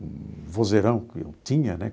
O vozeirão que eu tinha, né?